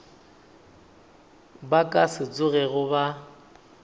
ba ka se tsogego ba